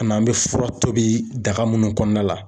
An n'an bɛ fura tobi daga munnu kɔnɔna la